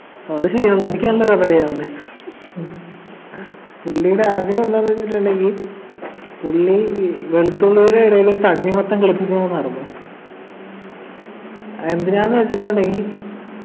അത് ശരിയാ നിനിക്കല്ലല്ലൊ കഥ അറിയാവുന്നെ പുള്ളിയുടെ ആഗ്രഹം എന്താന്ന് വച്ചിട്ടുണ്ടെങ്കി പുള്ളി വെളുത്തുള്ളിയുടെ ഇടയില് തണ്ണിമത്തൻ മറന്നു അഹ് എന്തിനാന്നു വെച്ചിട്ടുണ്ടെങ്കി